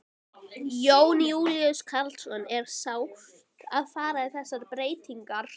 Jón Júlíus Karlsson: Er sárt að fara í þessar breytingar?